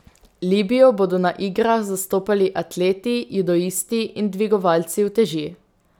Libijo bodo na igrah zastopali atleti, judoisti in dvigovalci uteži.